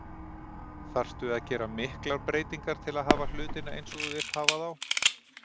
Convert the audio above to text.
Þarftu að gera miklar breytingar til að hafa hlutina eins og þú vilt hafa þá?